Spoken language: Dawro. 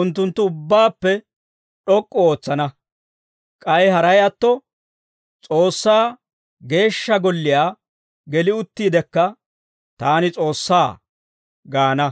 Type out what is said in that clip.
unttunttu ubbaappe d'ok'k'u ootsana. K'ay haray atto S'oossaa Geeshsha Golliyaa geli uttiidekka, «Taani S'oossaa» gaana.